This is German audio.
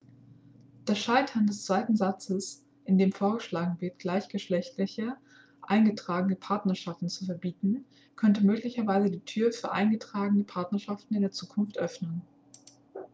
das scheitern des zweiten satzes in dem vorgeschlagen wird gleichgeschlechtliche eingetragene partnerschaften zu verbieten könnte möglicherweise die tür für eingetragene partnerschaften in der zukunft öffnen